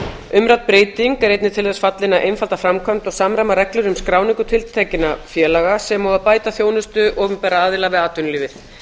umrædd breyting er einnig til þess fallin að einfalda framkvæmd og samræma reglur um skráningu tiltekinna félaga sem og að bæta þjónustu opinberra aðila við atvinnulífið